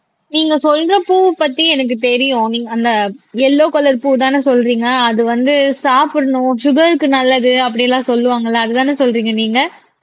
நீங்க சொல்ற பூவை பத்தி எனக்கு தெரியும் நீங்க அந்த எல்லோவ் கலர் பூ தானே சொல்றீங்க அது வந்து சாப்பிடணும் சுகர்க்கு நல்லது அப்படி எல்லாம் சொல்லுவாங்கல்ல அதுதானே சொல்றீங்க நீங்க